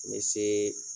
N bɛ se